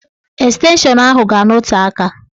Estenshọn ahụ ga-anọte aka.